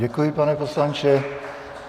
Děkuji, pane poslanče.